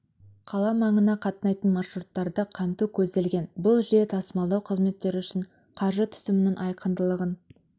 қала маңына қатынайтын маршруттарды қамту көзделген бұл жүйе тасымалдау қызметтері үшін қаржы түсімінің айқындылығын